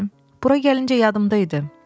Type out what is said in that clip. Bura gələndə yadımda idi.